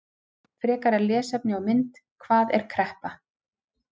Frekara lesefni og mynd: Hvað er kreppa?